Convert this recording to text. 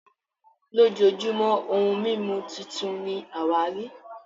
lojojumo ohun mimu titun ni awari